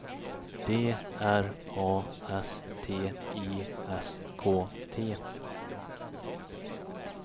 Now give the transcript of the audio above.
D R A S T I S K T